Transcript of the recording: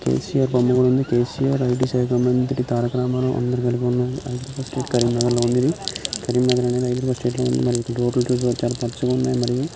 కెసిఆర్ బొమ్మ కూడా ఉన్నది కేసీఆర్ అధిక శాఖ మంత్రి తారక రామారావు అందరు కలిపి ఉన్నారు. అయితే స్టేట్ కరీంనగర్ లో ఉన్నది కరీంనగర్ అనేది హైదరాబాద్ స్టేట్ లో ఉంది. పచ్చగా ఉన్నాయి మరియ.